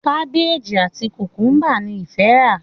Kábéèjì àti Kùkúmbà ni ìfẹ rà.